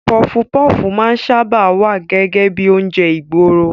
Pọfupọ́fù máa ń sáábà wá gẹ́gẹ́ bíi oúnjẹ ìgboro.